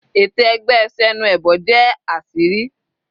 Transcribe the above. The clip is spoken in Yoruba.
Ète ẹgbẹ́ Senuebo jẹ́ àṣírí.